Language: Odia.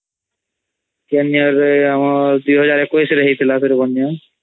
କେନ୍ year ରେ ଆମ 2021 ରେ ହଇଥିଲା ବନ୍ୟା